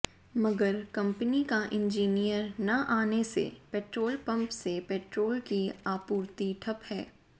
मगर कंपनी का इंजीनियर न आने से पेट्रोल पंप से पेट्रोल की आपूर्ति ठप हैं